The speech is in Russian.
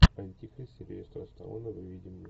антихрист сильвестра сталлоне выведи мне